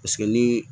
Paseke ni